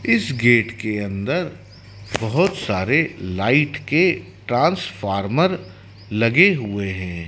इस गेट के अंदर बहोत सारे लाइट के ट्रांसफार्मर लगे हुए है।